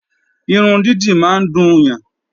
Irun dídì máa ń dùn yàn